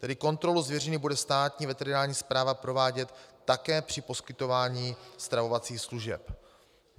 Tedy kontrolu zvěřiny bude Státní veterinární správa provádět také při poskytování stravovacích služeb.